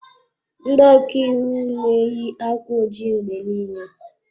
Ndị ọka iwu na-eyi akwa ojii mgbe niile.